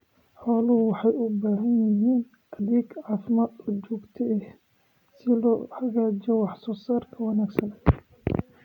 Xooluhu waxay u baahan yihiin adeeg caafimaad oo joogto ah si loo xaqiijiyo wax soo saar wanaagsan.